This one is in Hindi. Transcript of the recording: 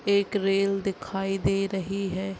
एक रेल दिखाई दे रही है।